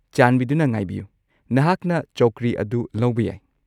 ꯆꯥꯟꯕꯤꯗꯨꯅ ꯉꯥꯏꯕꯤꯌꯨ, ꯅꯍꯥꯛꯅ ꯆꯧꯀ꯭ꯔꯤ ꯑꯗꯨ ꯂꯧꯕ ꯌꯥꯏ꯫